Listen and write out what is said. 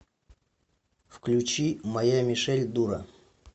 включи моя мишель дура